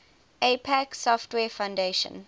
apache software foundation